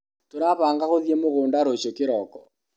Tũrabanga gũthĩi mũgunda rũcio kĩroko.